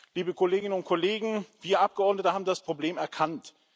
Liebe Kolleginnen und Kollegen, wir Abgeordnete haben das Problem erkannt.